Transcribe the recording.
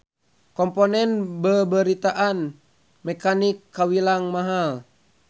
Komponen beubeuritan mekanik kawilang mahal.